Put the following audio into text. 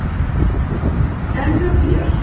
En hjá þér?